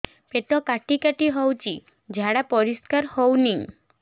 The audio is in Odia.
ପେଟ କାଟି କାଟି ହଉଚି ଝାଡା ପରିସ୍କାର ହଉନି